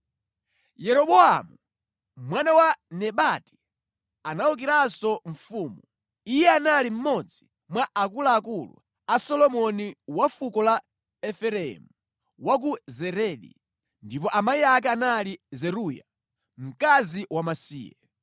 Yeroboamu, mwana wa Nebati anawukiranso mfumu. Iye anali mmodzi mwa akuluakulu a Solomoni wa fuko la Efereimu, wa ku Zeredi, ndipo amayi ake anali Zeruya, mkazi wamasiye.